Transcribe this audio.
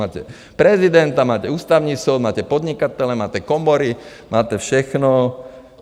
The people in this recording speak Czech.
Máte prezidenta, máte Ústavní soud, máte podnikatele, máte komory, máte všechno.